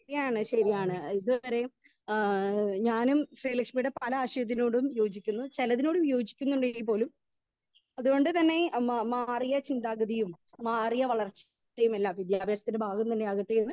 speaker 2 ശരിയാണ് ശരിയാണ് ഇതുവരേം ഏഹ് ഞാനും ശ്രീലക്ഷ്മിയുടെ പല ആശയത്തിനോടും യോജിക്കുന്നു ചേലതിനോടും യോജിക്കുന്നണ്ടേൽ പോലും അതുകൊണ്ട് തന്നെ മ മാറിയ ചിന്താഗതിയും മാറിയ വളർച്ച ക്ക് എല്ലാം വിദ്യാഭ്യാസത്തിന്റെ ഭാഗം തന്നെ ആകട്ടെ എന്ന്